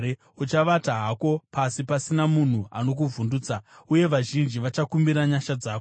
Uchavata hako pasi, pasina munhu anokuvhundutsa, uye vazhinji vachakumbira nyasha dzako.